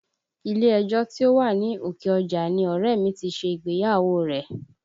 Ilé ẹjọ́ tí ó wà ní Òkè Ọjà ni ọ̀rẹ́ ẹ̀ mi ti ṣe ìgbéyàwó rẹ̀